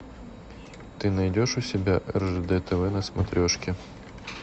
ты найдешь у себя ржд тв на смотрешке